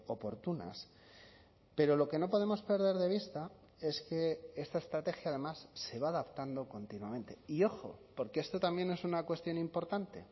oportunas pero lo que no podemos perder de vista es que esta estrategia además se va adaptando continuamente y ojo porque esto también es una cuestión importante